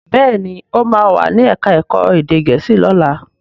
Béèni o ma wá ní èka èko èdè gèésì lọla.